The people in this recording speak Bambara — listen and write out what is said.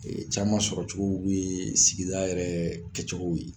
caman sɔrɔcogow yee sigida yɛrɛ kɛcogow ye.